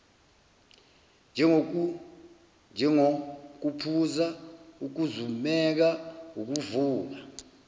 njengokuphuza ukuzumeka ukuvuka